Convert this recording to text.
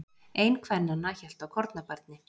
Ein kvennanna hélt á kornabarni.